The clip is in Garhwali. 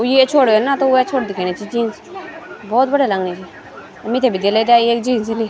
वू ये छोर न त वे छोर दिखेणी च जीन्स बहौत बढ़िया लगणी च मिथे भी दिले दया एक जीन्स इनी।